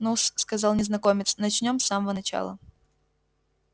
ну-с сказал незнакомец начнём с самого начала